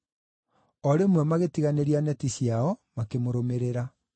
O rĩmwe magĩtiganĩria neti ciao makĩmũrũmĩrĩra.